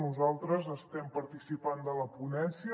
nosaltres estem participant de la ponència